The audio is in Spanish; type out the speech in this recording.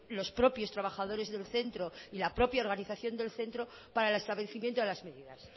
los propios trabajadores del centro y la propia organización del centro para el establecimiento de las medidas